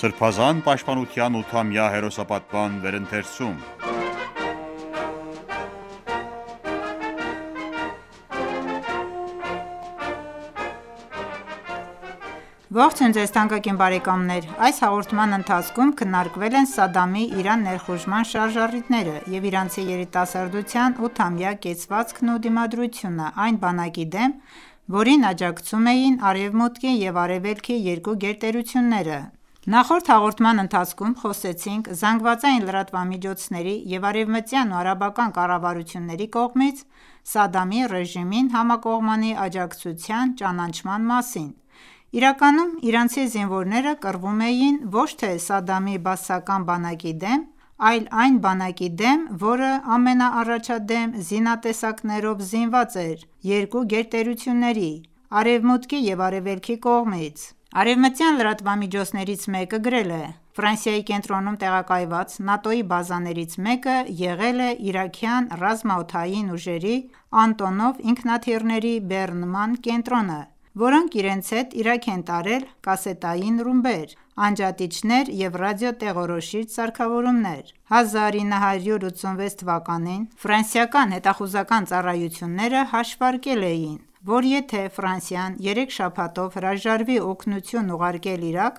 Սրբազան պաշտպանության 8-ամյա հերոսապատման վերընթերցում (114) Ողջույն ձեզ թանկագին բարեկամներ: Այս հաղորդման ընթացքում քննարկվել են Սադամի Իրան ներխուժման շարժառիթները և իրանցի երիտասարդության ութամյա կեցվածքն ու դիմադրությունը այն բանակի դեմ, որին աջակցում էին Արևմուտքի և Արևելքի երկու գերտերությունները։ Նախորդ հաղորդման ընթացքում խոսեցինք ԶԼՄ-ների և արևմտյան ու արաբական կառավարությունների կողմից Սադամի ռեժիմին համակողմանի աջակցության ճանաչման մասին։ Իրականում իրանցի զինվորները կռվում էին ոչ թե Սադամի բաասական բանակի դեմ, այլ այն բանակի դեմ, որը ամենաառաջադեմ զինատեսակներով զինված էր երկու գերտերությունների՝ Արեւմուտքի և Արեւելքի կողմից։ Արևմտյան լրատվամիջոցներից մեկը գրել է.«Ֆրանսիայի կենտրոնում տեղակայված ՆԱՏՕ-ի բազաներից մեկը եղել է իրաքյան ռազմաօդային ուժերի «Անտոնով» ինքնաթիռների բեռնման կենտրոնը, որոնք իրենց հետ Իրաք են տարել կասետային ռումբեր, անջատիչներ և ռադիոտեղորոշիչ սարքավորումներ»։ 1986 թվականին ֆրանսիական հետախուզական ծառայությունները հաշվարկել էին, որ եթե Ֆրանսիան երեք շաբաթով հրաժարվի օգնություն ուղարկել Իրաք,